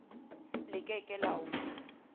le ke ke la o